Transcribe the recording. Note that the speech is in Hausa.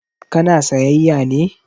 Ka na sayyaya ne?